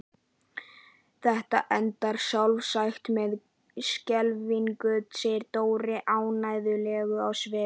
Þetta endar sjálfsagt með skelfingu segir Dóri ánægjulegur á svip.